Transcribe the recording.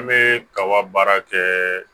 An bɛ kaba baara kɛ